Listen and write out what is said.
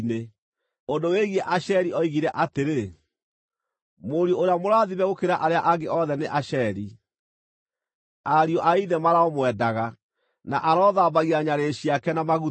Ũndũ wĩgiĩ Asheri oigire atĩrĩ: “Mũriũ ũrĩa mũrathime gũkĩra arĩa angĩ othe nĩ Asheri; ariũ a ithe maroomwendaga, na arothambagia nyarĩrĩ ciake na maguta.